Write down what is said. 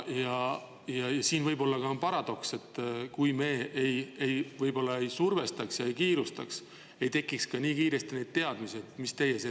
Ja siin võib olla ka paradoks, et kui me ei survestaks ega kiirustaks, ei tekiks nii kiiresti ka neid teadmisi.